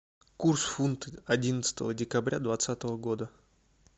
курс фунт одиннадцатого декабря двадцатого года